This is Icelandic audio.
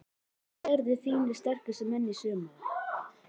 Hverjir verða þínir sterkustu menn í sumar?